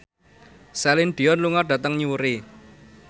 Celine Dion lunga dhateng Newry